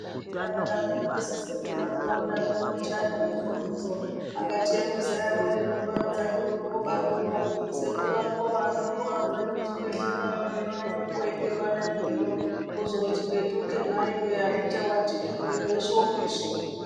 Anditi akadarokopisu sekuru angu odaroko ochaya ngefonidzo angati hemuzaya woye rumba udzake uno kubani uno sekuru ako adoko abvayo kuchibhedhlerayo hino aende koibekwa naitiyo kuzoti petuke maiwe hazvichawatiki mwiri weshe wopisha.